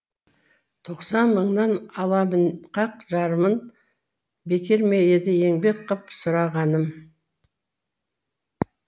тоқсан мыңның аламын қақ жарымын бекер ме еді еңбек қып сұрағаным